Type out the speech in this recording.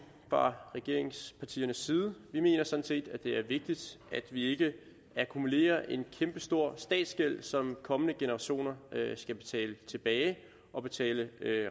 fra regeringspartiernes side vi mener sådan set at det er vigtigt at vi ikke akkumulerer en kæmpestor statsgæld som kommende generationer skal betale tilbage og betale